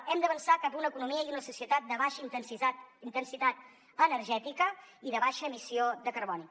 hem d’avançar cap a una economia i una societat de baixa intensitat energètica i de baixa emissió de carboni